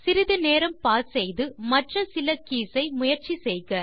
சிறிது நேரம் பாஸ் செய்து மற்ற சில கீஸ் ஐ முயற்சி செய்க